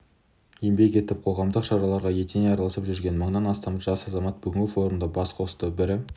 еңбек етіп қоғамдық шараларға етене араласып жүрген мыңнан астам жас азамат бүгінгі форумда бас қосты бірі